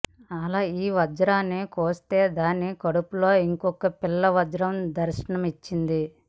అలా ఈ వజ్రాన్ని కోస్తే దాని కడుపులో ఇంకొక పిల్ల వజ్రం దర్శనమిచ్చింది